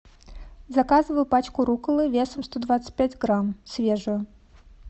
заказываю пачку рукколы весом сто двадцать пять грамм свежую